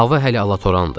Hava hələ alatorandı.